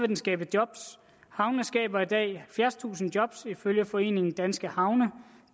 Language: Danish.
den skabe job havnene skaber i dag halvfjerdstusind job ifølge foreningen danske havne og